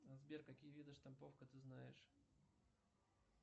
сбер какие виды штамповка ты знаешь